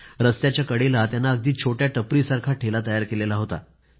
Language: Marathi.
रस्त्याच्या कडेला त्यानं अगदी छोट्या टपरीसारखा ठेला तयार केला होता